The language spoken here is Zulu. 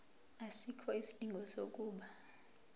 asikho isidingo sokuba